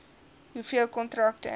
hoeveel kontrakte